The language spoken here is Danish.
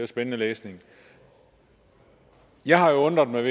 spændende læsning jeg har undret mig